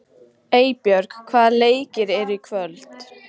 Eybjörg, hvaða leikir eru í kvöld?